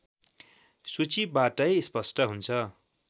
सूचीबाटै स्पष्ट हुन्छ